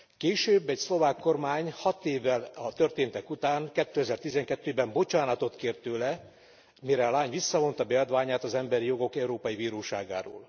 Később egy szlovák kormány hat évvel a történtek után, 2012 ben bocsánatot kért tőle, mire a lány visszavonta beadványát az Emberi Jogok Európai Bíróságáról.